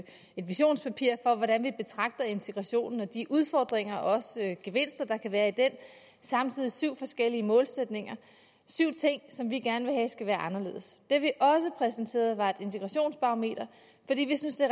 et visionspapir for hvordan vi betragter integrationen og de udfordringer og også gevinster der kan være i den samtidig syv forskellige målsætninger syv ting som vi gerne vil have skal være anderledes det vi også præsenterede var et integrationsbarometer fordi vi synes det